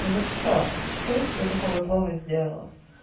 за что что я тебе такого злого сделала